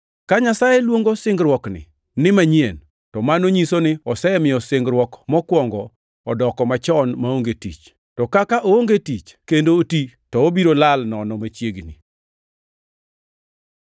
Ka Nyasaye luongo singruokni ni “manyien” to mano nyiso ni osemiyo singruok mokwongo odoko machon maonge tich; to kaka oonge tich kendo oti, to obiro lal nono machiegni.